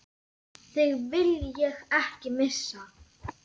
Þig vil ég ekki missa.